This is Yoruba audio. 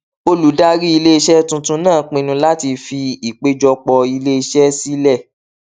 olùdarí iléiṣẹ tuntun náà pinnu láti fi ìpèjọpọ iléiṣẹ sílẹ